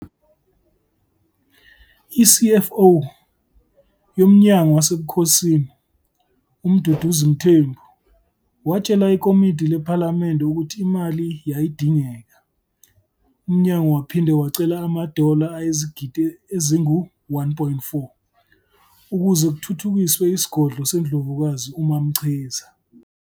I-CFO yomnyango wasebukhosini, uMduduzi Mthembu, watshela ikomiti lephalamende ukuthi imali yayidingeka. Umnyango waphinde wacela ama-dollar ayizigidi ezingu-1.4 ukuze kuthuthukiswe isigodlo seNdlovukazi uMaMchiza.